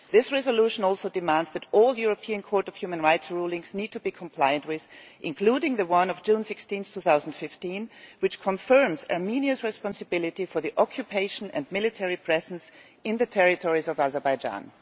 This resolution also demands that all European Court of Human Rights rulings need to be complied with, including that of 16 June 2015, which confirms Armenia's responsibility for the occupation and military presence in the territories of Azerbaijan.